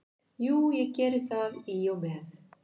Jú, ég geri það í og með.